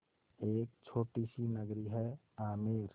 एक छोटी सी नगरी है आमेर